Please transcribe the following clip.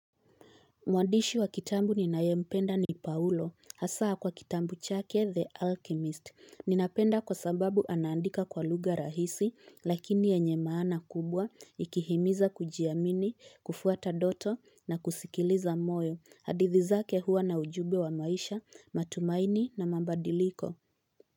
Mwandishi wa kitabu ninayempenda ni paulo hasa kwa kitabu chake the alchemist ninapenda kwa sababu anaandika kwa lugha rahisi lakini yenye maana kubwa ikihimiza kujiamini kufuata ndoto na kusikiliza moyo hadithi zake huwa na ujumbe wa maisha matumaini na mabadiliko.